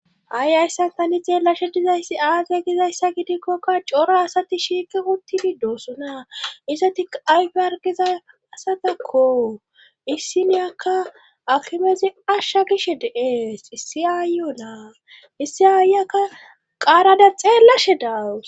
Ha'i hayssan tani xeellashe dizayssi aaze gizayssa gidikkokka cora asati shiiqi uttidi doosona izettikka ayfe hargiza asatakko issiniyakka akimeza ashsha giishshe de'ees issi aayiyakka naa issi aayiyakka qaarada xeellashshe daawus